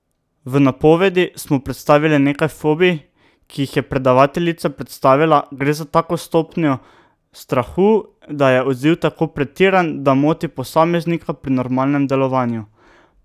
V napovedi smo predstavili nekaj fobij, ki jih je predavateljica predstavila: 'Gre za tako stopnjo strahu, da je odziv tako pretiran, da moti posameznika pri normalnem delovanju.